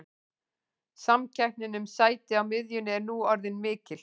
Samkeppnin um sæti á miðjunni er nú orðin mikil.